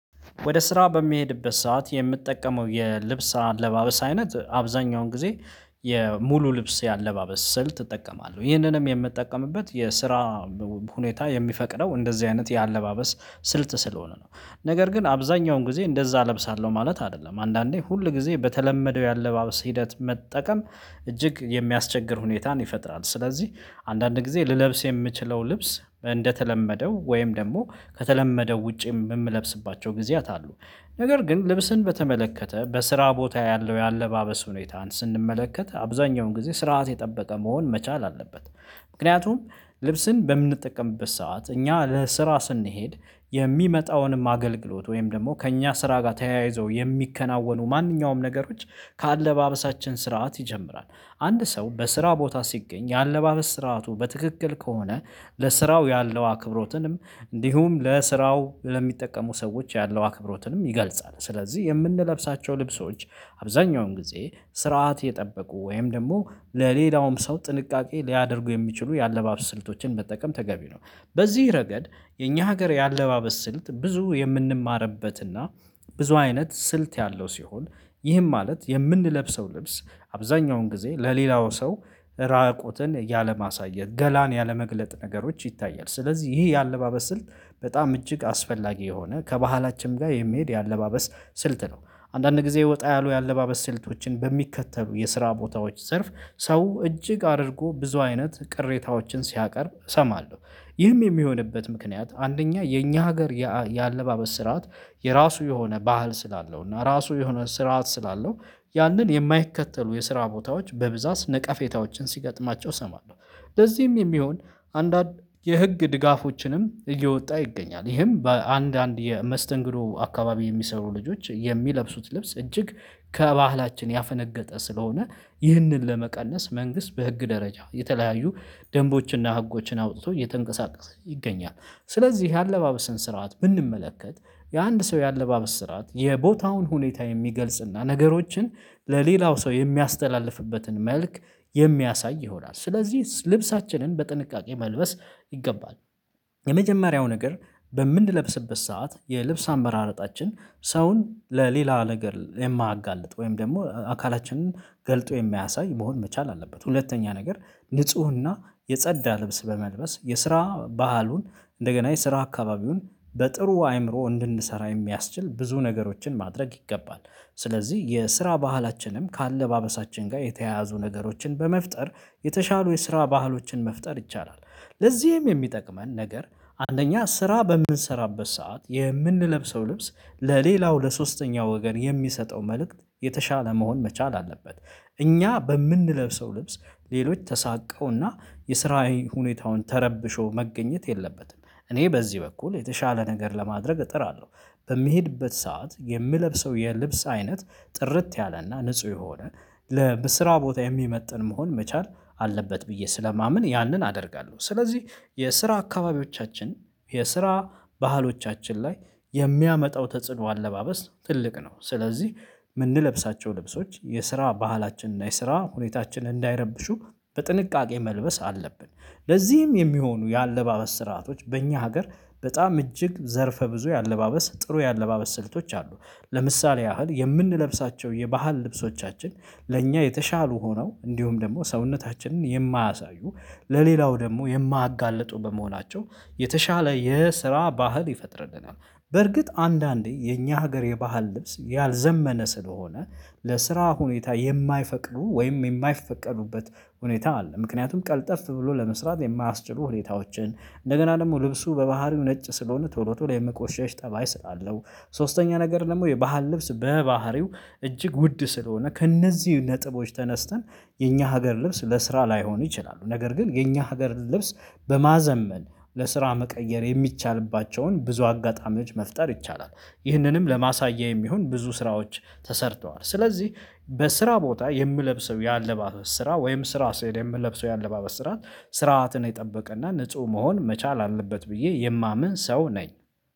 ወደ ስራ በሚሄድበት ሰዓት የምትጠቀመው የልብስ አለባበስ አይነት አብዛኛውን ጊዜ የሙሉ ልብስ የአለባበስ ስል እጠቀማለህ። ይህንንም የምጠቀምበት የስራ ሁኔታ የሚፈቅደው እንደዚህ አይነት የአለባበስ ስልት ስለሆነ ነው። ነገር ግን አብዛኛውን ጊዜ እንደዛ እለብሳለሁ ማለት አይደለም። አንዳንዴ ሁል ጊዜ በተለመደው የአለባበስ ሂደት መጠቀም እጅግ የሚያስቸግር ሁኔታን ይፈጥራል ስለዚህ አንዳንድ ጊዜ ልለብስ የምችለው ልብስ እንደተለመደው ወይም ደግሞ ከተለመደው ውጪ የምለብስባቸው ጊዜያት አሉ። ነገ ግን፣ ልብስን በተመለከተ በስራ ቦታ ያለው የአለባበስ ሁኔታን ስንመለከት አብዛኛውን ጊዜ ስርዓት የጠበቀ መሆን መቻል አለበት። ምክንያቱም ልብስን በምንጠቀምበት ሰዓት እኛ ለስራ ስንሄድ የሚመጣውንም አገልግሎት ወይም ደግሞ ከእኛ ስራ ጋር ተያይዞ የሚከናወኑ ማንኛውም ነገሮች ከአለባበሳችን ስርዓት ይጀምራል። አንድ ሰው፣ በስራ ቦታ ሲገኝ የአለባበስ ስርዓቱ በትክክል ከሆነ ለስራው ያለው አክብሮትንም እንዲሁም፣ ለስራው ለሚጠቀሙ ሰዎች ያለው አክብሮትንም ይገልጻል። ስለዚህ የምንለብሳቸው ልብሶች አብዛኛውን ጊዜ ስርዓት የጠበቁ ወይም ደግሞ ለሌላውም ሰው ጥንቃቄ ሊያደርጉ የሚችሉ የአለባበስ ስልቶችን መጠቀም ተገቢ ነው። በዚህ ረገድ የኛ ሀገር የአለባበስ ስልት ብዙ የምንማርበትና ብዙ አይነት ስልት ያለው ሲሆን፣ ይህም ማለት፣ የምንለብሰው ልብስ አብዛኛውን ጊዜ ለሌላው ሰው ራቁትን ያለማሳየት ገላን ያለመግለጥ ነገሮች ይታያል ስለዚህ ይሄ የአለባበስ ስልት በጣም እጅግ አስፈላጊ የሆነ ከባህላችንም ጋር የሚሄድ የአለባበስ ስልት ነው። አንዳንድ ጊዜ ወጣ ያሉ የአለባበስ ስልቶችን በሚከተሉ የስራ ቦታዎች ዘርፍ ሰው፣ እጅግ አድርጎ ብዙ አይነት ቅሬታዎችን ሲያቀርብ እሰማለሁ ይህም የሚሆንበት ምክንያት አንደኛ የኛ ሀገር የአለባበስ ስርዓት የራሱ የሆነ ባህል ስላለው እና ራሱ የሆነ ስርዓት ስላለው ያንን የማይከተሉ የስራ ቦታዎች በብዛት ነቃፌታዎችን ሲገጥማቸው እሰማለሁ። ለዚህም የሚሆን አንዳንድ የህግ ድጋፎችንም እየወጣ ይገኛል። ይህም በአንድ አንድ የመስተንግዶ አካባቢ የሚሰሩ ልጆች የሚለብሱት ልብስ እጅግ ከባህላችን ያፈነገጠ ስለሆነ ይህንን ለመቀነስ መንግስት በህግ ደረጃ የተለያዩ ደንቦችንና ህጎችን አውጥቶ እየተንቀሳቀስ ይገኛል። ስለዚህ የአለባበስን ስርዓት ብንመለከት የአንድ ሰው የአለባበስ ስርዓት የቦታውን ሁኔታ የሚገልጽና ነገሮችን ለሌላው ሰው የሚያስተላልፍበትን መልክ የሚያሳይ ይሆናል። ስለዚህ ልብሳችንን በጥንቃቄ መልበስ ይገባል። የመጀመሪያው ነገርበምንለብስበት ሰዓት የልብስ አመራረጣችን ሰውን ለሌላ ነገር የማያጋልጥ ወይም ደግሞ አካላችንን ገልጦ የሚያሳይ መሆን መቻል አለበት። ሁለተኛ ነገር ንፁህና የጸዳ ልብስ በመልበስ የስራ ባህሉን እንደገና የስራ አካባቢውን በጥሩ አይምሮ እንድንሰራ የሚያስችል ብዙ ነገሮችን ማድረግ ይገባል። ስለዚህ የስራ ባህላችንም ከአለባበሳችን ጋር የተያያዙ ነገሮችን በመፍጠር የተሻሉ የስራ ባህሎችን መፍጠር ይቻላል። ለዚህም የሚጠቅመን ነገር አንደኛ ስራ በምንሰራበት ሰዓት የምንለብሰው ልብስ ለሌላው ለሶስተኛው ወገን የሚሰጠው መልእክት የተሻለ መሆን መቻል አለበት። እኛ በምንለብሰው ልብስ ሌሎች ተሳቀውና የስራዬን ሁኔታውን ተረብሾ መገኘት የለበትም። እኔ በዚህ በኩል የተሻለ ነገር ለማድረግ እጥራለሁ በሚሄድበት ሰዓት የምለብሰው የልብስ አይነት ጥርት ያለና ንጹህ የሆነ ለስራ ቦታ የሚመጥን መሆን መቻል አለበት ብዬ ስለማምን ያንን አደርጋለሁ። ስለዚህ የስራ አካባቢዎቻችን የስራ ባህሎቻችን ላይ የሚያመጣው ተጽዕኖ አለባበስ ትልቅ ነው። ስለዚህ የምንለብሳቸው ልብሶች የስራ ባህላችን እና የስራ ሁኔታችን እንዳይረብሹ በጥንቃቄ መልበስ አለብን። ለዚህም የሚሆኑ የአለባበስ ስርአቶች በእኛ ሀገር በጣም እጅግ ዘርፈ ብዙ ያለባበስ ጥሩ ያለባበስ ስልቶች አሉ ለምሳሌ ያህል የምንለብሳቸው የባህል ልብሶቻችን ለእኛ የተሻሉ ሆነው እንዲሁም ደግሞ ሰውነታችንን የማያሳዩ ለሌላው ደግሞ የማያጋልጡ በመሆናቸው የተሻለ የስራ ባህል ይፈጥርልናል። በርግጥ አንዳንዴ የኛ ሀገር የባህል ልብስ ያልዘመነ ስለሆነ ለስራ ሁኔታ የማይፈቅዱ ወይም የማይፈቀዱበት ሁኔታ አለ ምክንያቱም ቀልጠፍ ብሎ ለመስራት የማያስችሉ ሁኔታዎችን፣ እንደገና ደግሞ ልብሱ በባህሪው ነጭ ስለሆነ ቶሎ የመቆሸሽ ጠባይ ስላለው ሶስተኛ ነገር ደግሞ የባህል ልብስ በባህሪው እጅግ ውድ ስለሆነ ከእነዚህ ነጥቦች ተነስተን የኛ ሀገር ልብስ ለስራ ላይሆን ይችላሉ ነገር ግን የኛ ሀገር ልብስ በማዘመን ለስራ መቀየር የሚቻልባቸውን ብዙ አጋጣሚ መች መፍጠር ይቻላል። ይህንንም ለማሳያ የሚሆን ብዙ ስራዎች ተሰርተዋል ስለዚህ በስራ ቦታ የምለብሰው ያለባበስ ስራ ወይም፣ ስራ ስሄድ የምለብሰው የአለባበስ ስራ ስርዓትን የጠበቀና ንጹህ መሆን መቻል አለበት ብዬ የማምን ሰው ነኝ።